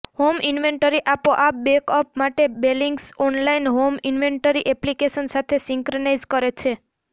home inventory આપોઆપ back up માટે બેલીંગ્સ ઓનલાઇન હોમ ઈન્વેન્ટરી એપ્લિકેશન સાથે સિંક્રનાઇઝ કરે છે